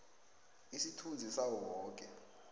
isithunzi sawo woke